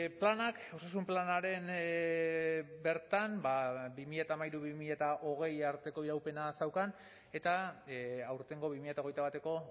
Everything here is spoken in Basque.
planak osasun planaren bertan bi mila hamairu bi mila hogei arteko iraupena zeukan eta aurtengo bi mila hogeita bateko